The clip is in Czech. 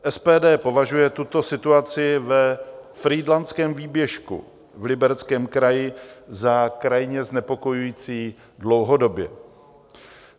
SPD považuje tuto situaci ve Frýdlantském výběžku v Libereckém kraji za krajně znepokojující dlouhodobě.